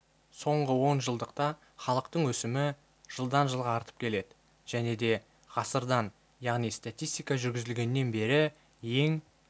соңғы онжылдықта халықтың өсімі жылдан жылға артып келеді және да ғасырдан яғни статистика жүргізілгеннен бергі ең